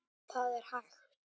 Það er hægt.